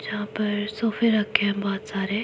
यहां पर सोफे रखे हैं बहोत सारे।